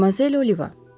Madmazel O'Liva.